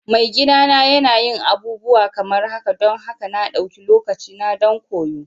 Maigidana yana yin abubuwa kamar haka don haka na ɗauki lokacina don koyo.